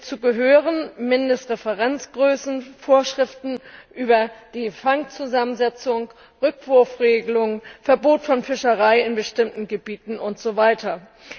Hierzu gehören Mindestreferenzgrößen, Vorschriften über die Fangzusammensetzung, die Rückwurfregelung, das Verbot von Fischerei in bestimmten Gebieten usw.